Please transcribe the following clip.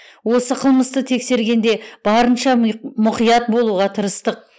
осы қылмысты тексергенде барынша мұқият болуға тырыстық